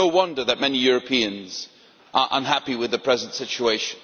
No wonder that many Europeans are unhappy with the present situation.